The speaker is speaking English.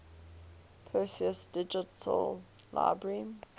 perseus digital library